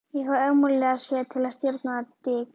Ég fæ ómögulega séð að stjórastaða Dik